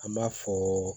An b'a fɔ